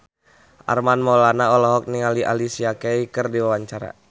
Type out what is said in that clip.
Armand Maulana olohok ningali Alicia Keys keur diwawancara